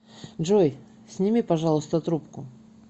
джой сними пожалуйста трубку